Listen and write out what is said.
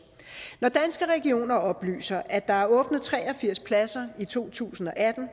når danske regioner oplyser at der er åbnet tre og firs pladser i to tusind og atten